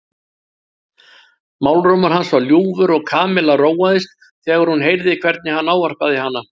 Málrómur hans var ljúfur og Kamilla róaðist þegar hún heyrði hvernig hann ávarpaði hana.